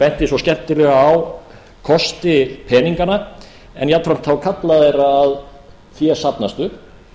benti svo skemmtilega á kosti peninganna en jafnframt þá galla þeirra að fé safnast upp